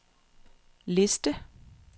liste